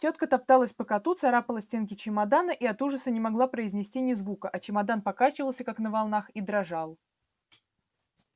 тётка топталась по коту царапала стенки чемодана и от ужаса не могла произнести ни звука а чемодан покачивался как на волнах и дрожал